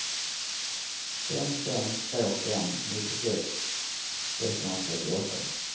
fem fem två fem nittiosex sexhundratrettioåtta